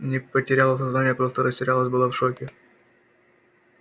не потеряла сознание просто растерялась была в шоке